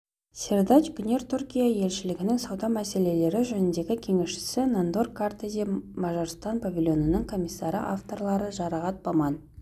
сердач гүнер түркия елшілігінің сауда мселелері жөніндегі кеңесшісі нандор картези мажарстан павильонының комиссары авторлары жұрағат баман